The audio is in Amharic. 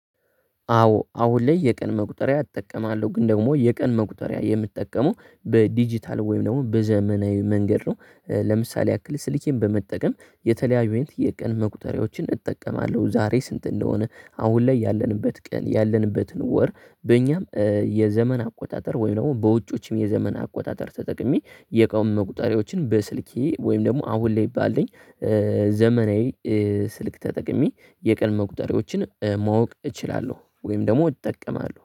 አዎ አሁን ላይ የቀን መቁጠሪያ እጠቀማለሁ ግን ደግሞ የቀን መቁጠሪያ የምጠቀመው በዲጂታል ወይም ደግሞ በዘመናዊ መንገድ ነው። ለምሳሌ ያክል ስልኬን በመጠቀም የተለያዩን የቀን መቁጠሪያዎችን እጠቀማለሁ ዛሬ ስንት እንደሆነ? አሁን ላይ ያለንበት ቀን ያለንበትን ወር በእኛም የዘመን አቆጣጠር ወይም ደግሞ በውጪዎችም የዘመን አቆጣጠር ተጠቅሜ የኑን መቁጠሪያዎችን በስልኬ ወይም ደግሞ አሁን ላይ ባልኝ ዘመናዊ ስልክ ተጠቅሜ የቀን መቁጠሪያዎችን ማወቅ እችላለሁ። ወይም ደግሞ እጠቀማለሁ